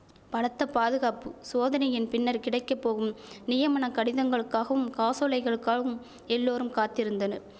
பலத்த பாதுகாப்பு சோதனையின் பின்னர் கிடைக்க போகும் நியமனக் கடிதங்களுக்காகவும் காசோலைகளுக்காகவும் எல்லோரும் காத்திருந்தனர்